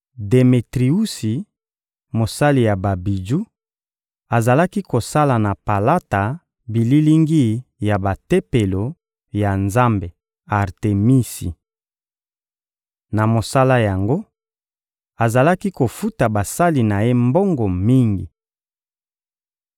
Demetriusi, mosali ya babiju, azalaki kosala na palata bililingi ya batempelo ya nzambe Artemisi. Na mosala yango, azalaki kofuta basali na ye mbongo mingi.